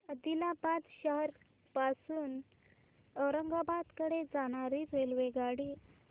आदिलाबाद शहर पासून औरंगाबाद कडे जाणारी रेल्वेगाडी